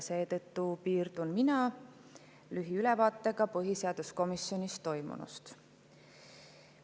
Seetõttu piirdun mina lühiülevaatega põhiseaduskomisjonis toimunust.